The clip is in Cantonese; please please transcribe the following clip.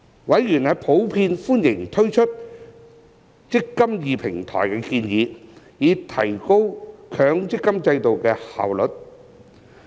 委員普遍歡迎推出"積金易"平台的建議，以提高強積金制度的效率。